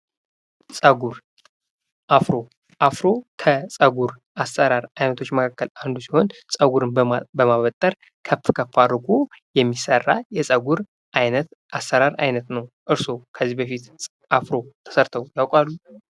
ጸጉር ፦ አፍሮ፡ አፍሮ ከጸጉር አሰራር አይነቶች መካክል አንዱ ሲሆን ጸጉርን በማበጠር ከፍ ከፍ አድርጎ የሚሰራ የጸጉር አሰራር አይነት ነው። እርስዎ ከዚህ በፊት አፍሮ ተሰርተው ያቃሉ ?